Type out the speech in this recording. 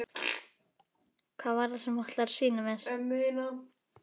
Hvað var það sem þú ætlaðir að sýna mér?